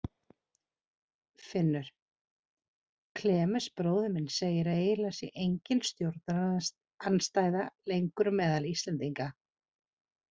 Finnur: Klemens bróðir minn segir að eiginlega sé engin stjórnarandstaða lengur meðal Íslendinga.